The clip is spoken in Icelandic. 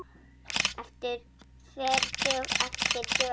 Fer eftir dögum.